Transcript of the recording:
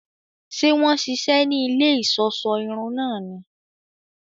Ṣe wọn ṣiṣẹ ní ilé iṣọṣọ irun náà ní?